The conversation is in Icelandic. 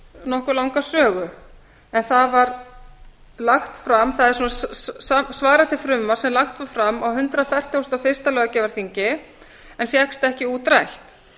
nokkuð langa sögu en það var lagt fram það svarar til frumvarps sem lagt var fram á hundrað fertugasta og fyrsta löggjafarþingi en fékkst ekki útrætt